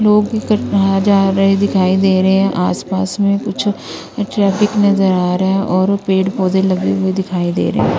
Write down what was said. लोक भी आ जा रहे दिखाई दे रहे हैं आसपास में कुछ अह ट्रैफिक नजर आ रहा है और पेड़ पौधे लगे हुए दिखाई दे रहे हैं।